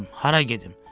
Hara gedim?